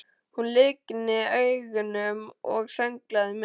Hún lygndi augunum og sönglaði með.